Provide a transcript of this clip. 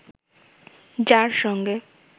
যার সঙ্গে